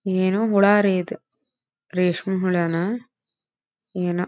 ಏನೋ ಹುಳ ರೀ ಇದು ರೇಷ್ಮೆ ಹುಳ ನಾ ಏನೋ.